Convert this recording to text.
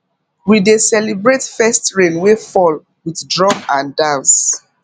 we dey celebrate first rain wey fall with drum and dance